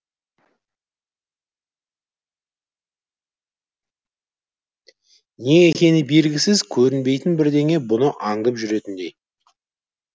не екені белгісіз көрінбейтін бірдеңе бұны аңдып жүретіндей